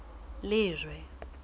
lejwe